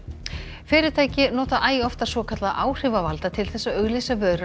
fyrirtæki nota æ oftar svokallaða áhrifavalda til þess að auglýsa vörur